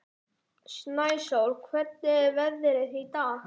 Snæsól, hvernig er veðrið í dag?